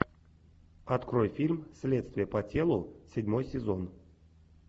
открой фильм следствие по телу седьмой сезон